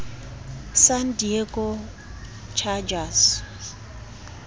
san diego chargers